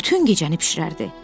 Bütün gecəni bişirərdi.